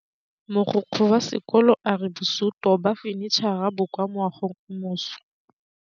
Mogokgo wa sekolo a re bosutô ba fanitšhara bo kwa moagong o mošwa.